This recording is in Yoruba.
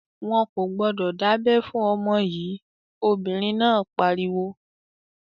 "Wọn kò gbọdọ̀ dábẹ fún ọmọ yìí!" Obìnrin náà pariwo.